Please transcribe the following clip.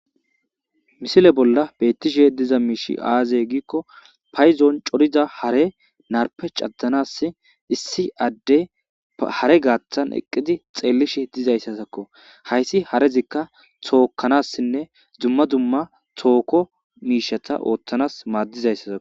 Misile bolla betishe diza mishiy aze giko paydon coriza hare narpe cadanas issi adey hare gathan eqidi xelishe dizaysazako haysi harezika tokanasine issi toko mishata othanas madizaysazako